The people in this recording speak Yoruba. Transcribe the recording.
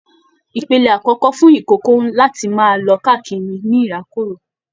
Ìpele akọkọ fún ikòkò láti máa lọ káàkiri ní ìrákòrò.